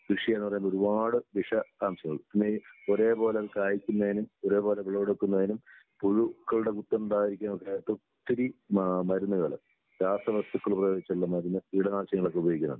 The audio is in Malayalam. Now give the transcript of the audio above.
കൃഷി ചെയ്യുന്നതെന്ന് പറഞ്ഞാല് ഒരുപാട് വിഷ അംശങ്ങൾ പിന്നെ ഈ ഒരേപോലെ കായ്ക്കുന്നതിന് ഒരേപോലെ വിളവെടുക്കുന്നതിനും പുഴുക്കളുടെ കുത്തുണ്ടാവാതിരിക്കാൻ ഒക്കെ ആയിട്ടും ഒത്തിരി ആഹ് മരുന്നുകള് രാസവസ്തുക്കള് ഉപയോഗിച്ചുള്ള മരുന്ന് കീടനാശിനികളൊക്കെ ഉപയോഗിക്കുന്നുണ്ട്.